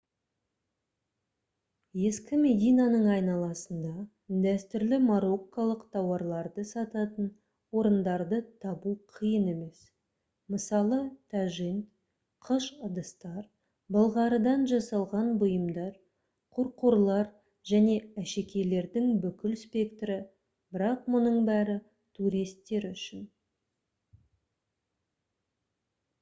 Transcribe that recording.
ескі мединаның айналасында дәстүрлі марокколық тауарларды сататын орындарды табу қиын емес мысалы тажин қыш ыдыстар былғарыдан жасалған бұйымдар қорқорлар және әшекейлердің бүкіл спектрі бірақ мұның бәрі туристер үшін